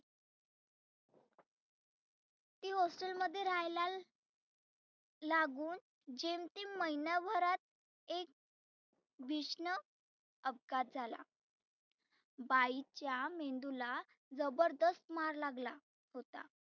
ती hostel मध्ये रहायला लागुन जेमतेम महिण्याभरात एक भिष्ण अपघात झाला. बाईच्या मेंदुला जबरदस्त मार लागला होता.